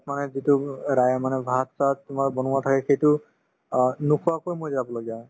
মানে যিটো মানে ভাত-চাত তোমাৰ বনোৱা থাকে সেইটো অ নোখোৱাকৈ মই যাবলগীয়া হয়